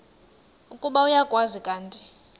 ukuba uyakwazi kanti